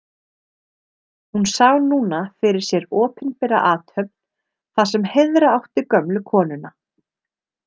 Hún sá núna fyrir sér opinbera athöfn þar sem heiðra átti gömlu konuna.